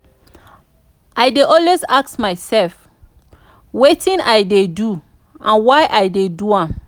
i dey always ask mysef wetin i dey do and why i dey do am.